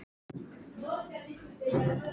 Helst fyrir fullt og allt.